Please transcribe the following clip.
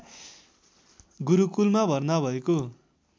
गुरुकुलमा भर्ना भएको